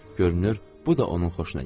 Görünür, bu da onun xoşuna gəldi.